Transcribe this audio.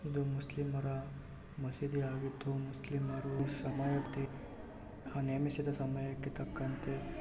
ಇದೊಂದು ಮುಸ್ಲಿಮರ ಮಸೀದಿಯಾಗಿದ್ದು ಮುಸ್ಲಿಮರು ನೇಮಿಸಿದ ಸಮಯಕ್ಕೆ ತಕ್ಕಂತೆ.